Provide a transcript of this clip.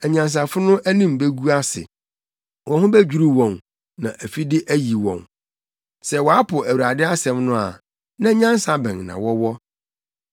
Anyansafo no anim begu ase; wɔn ho bedwiriw wɔn na afide ayi wɔn. Sɛ wɔapo Awurade asɛm no a, na nyansa bɛn na wɔwɔ?